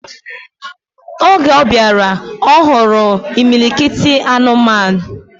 Oge obiara, ohuru imilikiti anụmanụ.